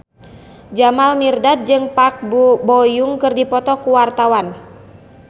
Jamal Mirdad jeung Park Bo Yung keur dipoto ku wartawan